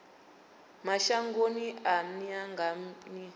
mashangoni a nnḓa nga nnḓa